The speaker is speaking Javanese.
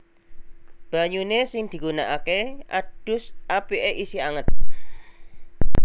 Banyune sing digunakake adus apike isih anget